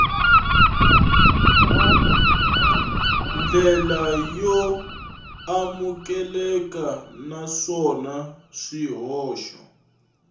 ndlela yo amukeleka naswona swihoxo